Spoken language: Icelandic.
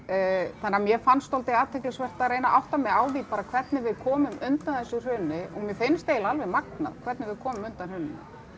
þannig að mér fannst dálítið athyglisvert að reyna að átta mig á því bara hvernig við komum undan þessu hruni og mér finnst eiginlega alveg magnað hvernig við komum undan hruninu